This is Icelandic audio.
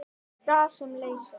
Gas sem leysir